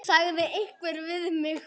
sagði einhver við mig.